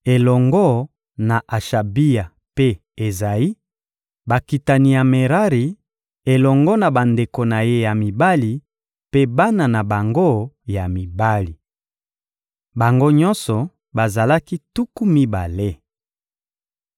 elongo na Ashabia mpe Ezayi, bakitani ya Merari, elongo na bandeko na ye ya mibali mpe bana na bango ya mibali. Bango nyonso bazalaki tuku mibale.